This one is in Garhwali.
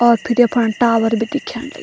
और फिर यफन टावर भी दिख्याण लग् --